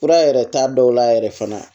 Fura yɛrɛ t'a dɔw la yɛrɛ fana